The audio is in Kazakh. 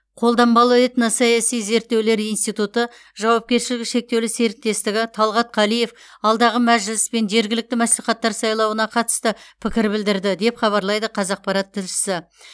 қолданбалы этносаяси зерттеулер институты жауапкершілігі шектеулі серіктестігі талғат қалиев алдағы мәжіліс пен жергілікті мәслихаттар сайлауына қатысты пікір білдірді деп хабарлайды қазақпарат тілшісі